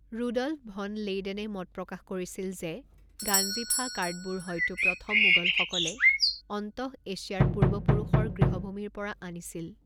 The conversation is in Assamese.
ৰুডল্ফ ভন লেইডেনে মত প্ৰকাশ কৰিছিল যে গাঞ্জিফা কাৰ্ডবোৰ হয়তো প্ৰথম মোগলসকলে অন্তঃএছিয়াৰ পূৰ্বপুৰুষৰ গৃহভূমিৰ পৰা আনিছিল।